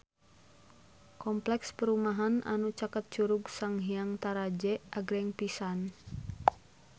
Kompleks perumahan anu caket Curug Sanghyang Taraje agreng pisan